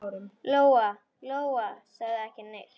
Lóa-Lóa sagði ekki neitt.